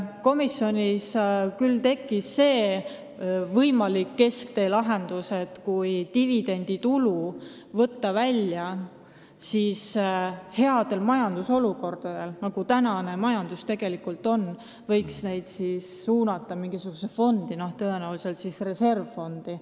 Komisjonis tuli meil jutuks ka võimalik keskteelahendus: kui võtta dividenditulu välja olukorras, kui majanduses on head ajad, nagu näiteks praegu, võiks selle suunata mingisugusesse fondi, tõenäoliselt reservfondi.